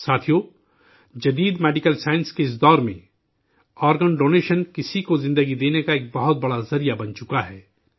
ساتھیو، جدید medical science کے اس دور میں آرگن ڈونیشن، کسی کو زندگی دینے کا ایک بہت بڑا ذریعہ بن چکا ہے